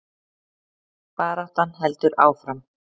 Baráttan heldur áfram